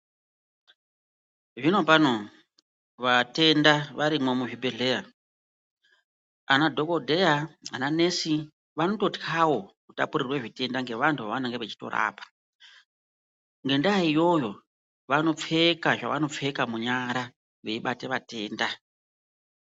Zvino pano vatenda varimwo muzvibhedhleya ana dhokodheya ananesi vanototywawo kutapurirwa zvitenda ngavantu vavanenge vachitorapa. Ngendaa iyoyo vanopfeka zvavanopfeka munyara veibata vatenda